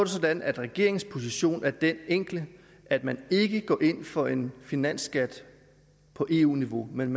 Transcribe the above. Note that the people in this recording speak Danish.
sådan at regeringens position er den enkle at man ikke går ind for en finansskat på eu niveau men